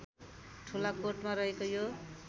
ठुलाकोटमा रहेको यो